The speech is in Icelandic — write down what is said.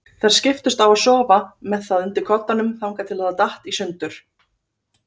Þær skiptust á að sofa með það undir koddanum þangað til það datt í sundur.